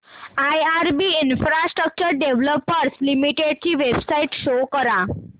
IRB infrastructure developers limited ची website show करा